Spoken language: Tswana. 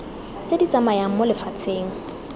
tse di tsamayang mo lefatsheng